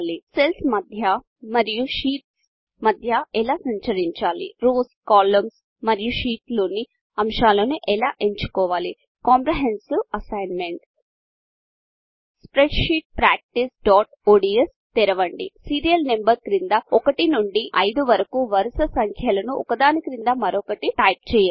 cells మధ్య మరియు sheets మధ్య ఎలా సంచరించాలి రోస్ కాలమ్స్ మరియు షీట్స్ లోని అంశాలను ఎలా ఎంచుకోవాలి కాంప్రెహెన్సివ్ అసైన్మెంట్ spreadsheetpracticeఒడిఎస్ తెరవండి సీరియల్ నంబర్స్ క్రింద 1 నుండి 5 వరకు వరుస సంఖ్యలను ఒక దాని క్రింద మరొకటి టైప్ చేయండి